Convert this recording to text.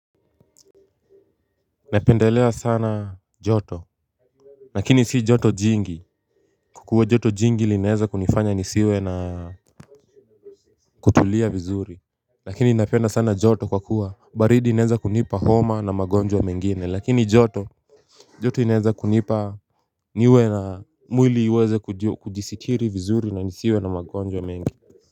Napendelea sana joto. Lakini si joto jingi kwa kuwa joto jingi linaeza kunifanya nisiwe na kutulia vizuri. Lakini napenda sana joto kwa kuwa baridi linaeza kunipa homa na magonjwa mengine lakini joto joto linaeza kunipa niwe na mwili uweze kujisitiri vizuri na nisiwe na magonjwa mengi.